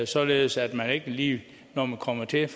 således at man ikke lige når man kommer til